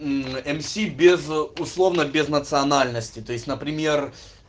мм мс без условно без национальности то есть например